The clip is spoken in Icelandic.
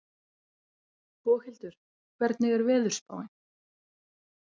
Boghildur, hvernig er veðurspáin?